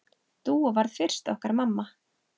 Dúa varð fyrst okkar mamma.